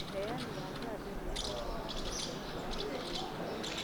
Uheani wa janjo nĩũhetwo gĩkĩro kĩa ĩgũrũ matũrainĩ.